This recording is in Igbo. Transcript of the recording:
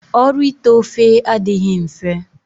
Ọrụ ite ofe adịghị mfe.